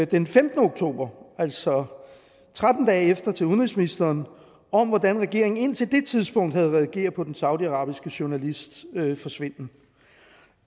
den femtende oktober altså tretten dage efter til udenrigsministeren om hvordan regeringen indtil det tidspunkt havde reageret på den saudiarabiske journalists forsvinden